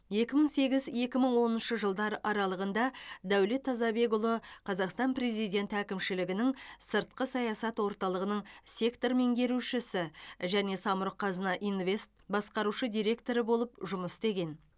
екі мың сегіз екі мың оныншы жылдар аралығында дәулет тазабекұлы қазақстан президенті әкімшілігінің сыртқы саясат орталығының сектор меңгерушісі және самұрық қазына инвест басқарушы директоры болып жұмыс істеген